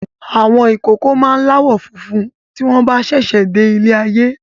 Ọmọ ìkókó máa láwọ̀ funfun tí wọn bá sẹsẹ de ilé ayé